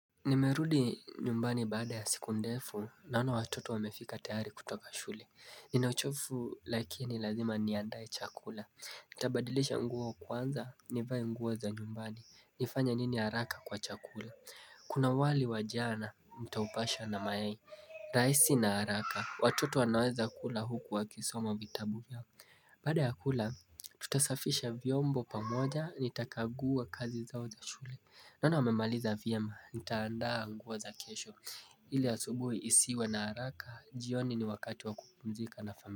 Nimerudi nyumbani baada ya siku ndefu, naona watoto wamefika tayari kutoka shule. Nina uchovu lakini lazima niandae chakula. Nitabadilisha nguo kwanza, nivae nguo za nyumbani. Nifanye nini haraka kwa chakula. Kuna wali wa jana, nitaupasha na mayai. Rahisi na haraka, watoto wanaweza kula huku wakisoma vitabu. Baada ya kula, tutasafisha vyombo pamoja, nitakagua kazi zao za shule. Naona wamemaliza vyema, nitaandaa nguo za kesho ili asubuhi isiwe na haraka, jioni ni wakati wa kupumzika na familia.